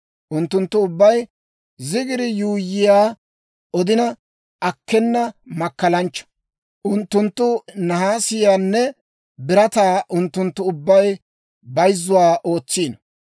Unttunttu ubbay zigiri yuuyyiyaa, odina akkena makkalanchcha. Unttunttu nahaasiyaanne birataa; unttunttu ubbaykka bayzzuwaa ootsiino.